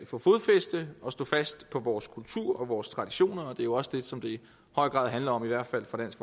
få fodfæste og stå fast på vores kultur og vores traditioner det er jo også det som det i høj grad handler om i hvert fald for dansk